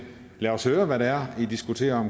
lad os høre hvad det er i diskuterer